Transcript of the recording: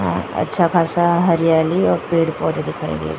अच्छा खासा हरियाली और पेड़ पौधे दिखाई दे रहे है।